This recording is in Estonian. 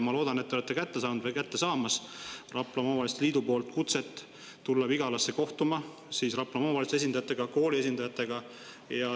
Ma loodan, et te olete kätte saanud või saate peagi kätte Raplamaa Omavalitsuste Liidu kutse tulla Vigalasse kohtuma Raplamaa omavalitsuste esindajatega ja kooli esindajatega.